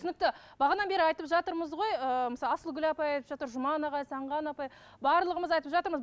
түсінікті бері айтып жатырмыз ғой ыыы мысалы асылгүл апай айтып жатыр жұман ағай сағынған апай барлығымыз айтып жатырмыз